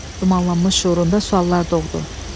Dumanlanmış şüurunda suallar doğdu.